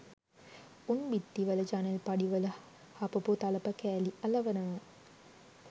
උන් බිත්ති වල ජනෙල්පඩි වල හපපු තලප කෑලි අලවනවා